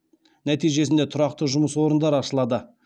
нәтижесінде тұрақты жұмыс орындары ашылады